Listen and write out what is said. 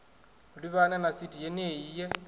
livhana na sithi yenei ye